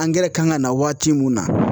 Angɛrɛ kan ka na waati mun na